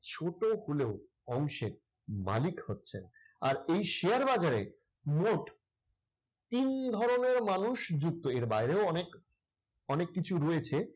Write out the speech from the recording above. ছোট হলেও অংশের মালিক হচ্ছেন। আর এই শেয়ার বাজারে মোট তিন ধরনের মানুষ যুক্ত। এর বাইরেও অনেক অনেক কিছু রয়েছে।